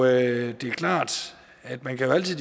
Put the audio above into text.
det er klart at man altid